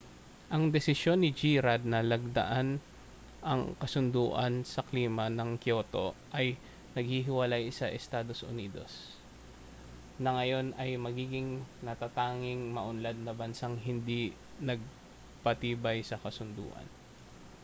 ang desisyon ni g rudd na lagdaan ang kasunduan sa klima ng kyoto ay naghihiwalay sa estados unidos na ngayon ay magiging natatanging maunlad na bansang hindi nagpatibay sa kasunduan